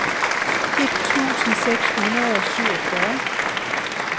et tusind seks hundrede og syvogfyrre